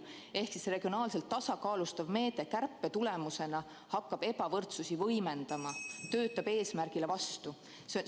Ehk teisisõnu, regionaalselt tasakaalustava meetme kärbe hakkab ebavõrdsust võimendama, eesmärgile vastu töötama.